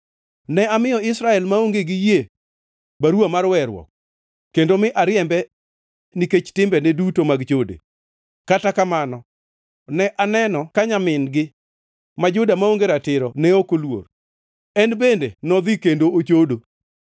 Ne amiyo Israel maonge gi yie baruwa mar weruok kendo mi ariembe nikech timbene duto mag chode. Kata kamano ne aneno ka nyamin-gi ma Juda maonge ratiro ne ok oluor; en bende nodhi kendo ochodo.